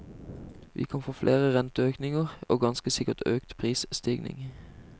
Vi kan få flere renteøkninger og ganske sikkert økt prisstigning.